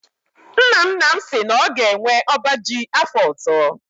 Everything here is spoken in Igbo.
Nna nna m si na ọ ga-enwe ọba ji afọ ọzọ.